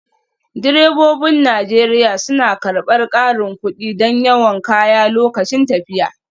Direbobin Najeriya suna karɓar ƙarin kuɗi don yawan kaya lokacin tafiya